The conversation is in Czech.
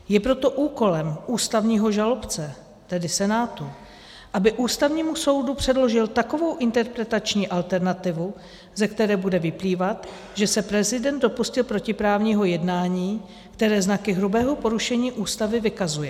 Je proto úkolem ústavního žalobce, tedy Senátu, aby Ústavnímu soudu předložil takovou interpretační alternativu, ze které bude vyplývat, že se prezident dopustil protiprávního jednání, které znaky hrubého porušení Ústavy vykazuje.